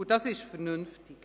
Und das ist vernünftig.